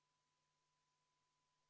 Juhtivkomisjoni seisukoht on jätta see arvestamata.